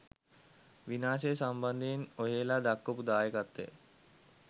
විනාශය සම්බන්ධයෙන් ඔහෙල දක්වපු දායකත්වය